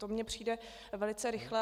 To mi přijde velice rychlé.